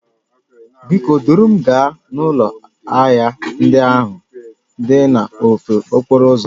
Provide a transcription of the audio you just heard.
Biko duru m gaa n'ụlọ ahịa ndị ahụ dị n'ofe okporo ụzọ